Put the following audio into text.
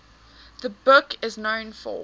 the book is known for